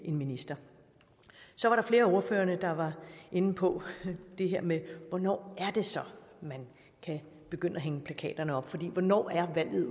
en minister så var der flere af ordførerne der var inde på det her med hvornår det så er man kan begynde at hænge plakaterne op for hvornår er valget